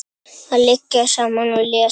Að liggja saman og lesa.